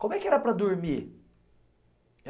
Como é que era para dormir?